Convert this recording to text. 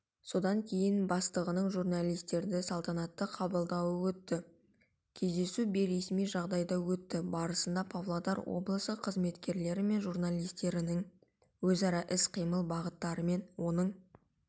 содан кейін бастығының журналистерді салтанатты қабылдауы өтті кездесу бейресми жағдайда өтті барысында павлодар облысы қызметкерлері мен журналистердің өзара іс-қимыл бағыттарымен оның